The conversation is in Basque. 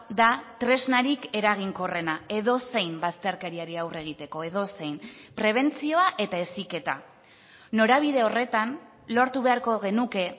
da tresnarik eraginkorrena edozein bazterkeriari aurre egiteko edozein prebentzioa eta heziketa norabide horretan lortu beharko genuke